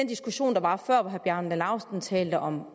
diskussion der var før hvor herre bjarne laustsen talte om